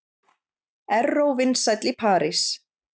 Erró vinsæll í París